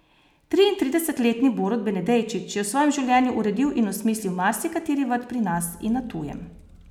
Triintrideset letni Borut Benedejčič je v svojem življenju uredil in osmislil marsikateri vrt pri nas in na tujem.